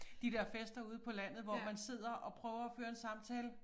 De der fester ude på landet hvor man sidder og prøver at føre en samtale